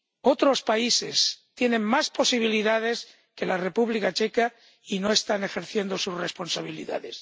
Otros países tienen más posibilidades que la República Checa y no están ejerciendo sus responsabilidades.